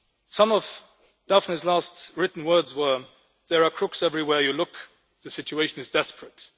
Some of Daphne's last written words were there are crooks everywhere you look, the situation is desperate'.